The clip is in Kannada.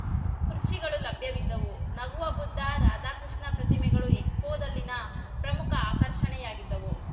ಖುರ್ಚಿಗಳು ಲಭ್ಯವಿದ್ದವು ನಗುವ ಬುದ್ಧ ರಾಧಾಕೃಷ್ಣ ಪ್ರತಿಮೆಗಳು ಎಕ್ಸ್‌ಫೋದಲ್ಲಿನ ಪ್ರಮುಖ ಆಕರ್ಷಣೆಯಾಗಿದ್ದವು